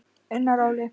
Unnar Óli.